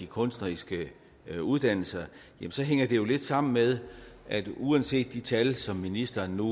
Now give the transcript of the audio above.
kunstneriske uddannelser hænger det jo lidt sammen med at uanset de tal som ministeren nu